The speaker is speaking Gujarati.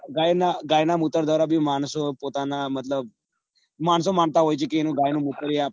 ગાય ના ગાય ના મુતર દ્વારા બી માણસો પોતાના મતલબ માણસો માનતા હોય છે કે ગાય નું મુતર